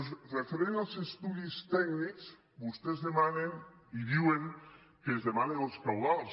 amb referència als estudis tècnics vostès demanen i diuen que es demanen els cabals